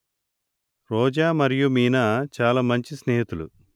రోజా మరియు మీనా చాలా మంచి స్నేహితులు